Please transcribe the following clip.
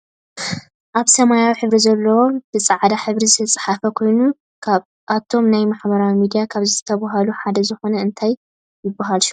ኣብ ሰማያዊ ሕብሪ ዘለዎ ብፃዕዳ ሕብሪ ዝተፅሓፈ ኮይኑ ካብ እቶም ናይ ማሕበራዊ ሚድያ ካብ ዝብሃሉ ሓደ ዝኮነ እንታይ ይብሃል ሽሙ?